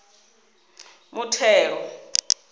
muthelo